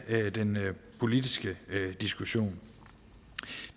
den politiske diskussion